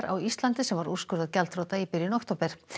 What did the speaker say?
á Íslandi sem var úrskurðað gjaldþrota í byrjun október